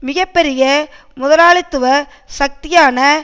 மிக பெரிய முதலாளித்துவ சக்தியான